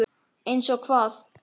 Eins og hvað?